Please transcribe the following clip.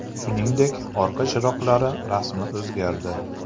Shuningdek, orqa chiroqlari rasmi o‘zgardi.